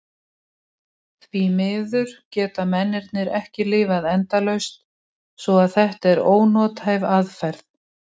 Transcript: Því miður geta mennirnir ekki lifað endalaust svo að þetta er ónothæf aðferð.